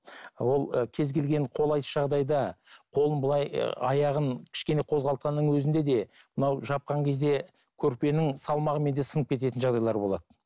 ы ол ы кез келген қолайсыз жағдайда қолын былай аяғын кішкене қозғалтқанның өзінде де мынау жапқан кезде көрпенің салмағымен де сынып кететін жағдайлар болады